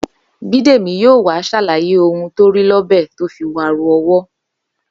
Bídèmí yóò wá ṣàlàyé ohun tó rí lọ́bẹ̀ tó fi waru ọwọ́